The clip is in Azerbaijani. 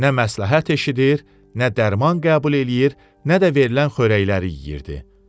Nə məsləhət eşidir, nə dərman qəbul eləyir, nə də verilən xörəkləri yeyirdi.